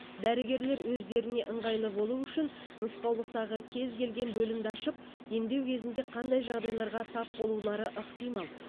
дәрігерлер өздеріне ыңғайлы болу үшін нұсқаулықтағы кез келген бөлімді ашып емдеу кезінде қандай жағдайларға тап болулары ықтимал